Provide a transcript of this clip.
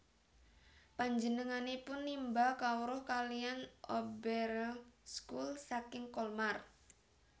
Penjenenganipun nimba kawruh kaliyan Oberrealschule saking Colmar